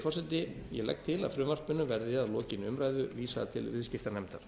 forseti ég legg til að frumvarpinu verði að lokinni umræðu vísað til viðskiptanefndar